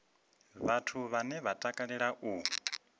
vhathu vhane vha takalea u